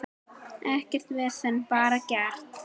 Ekkert vesen, bara gert.